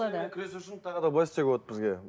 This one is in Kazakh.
күресу үшін тағы да былай істеуге болады бізге